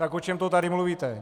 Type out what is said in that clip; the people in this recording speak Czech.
Tak o čem to tady mluvíte?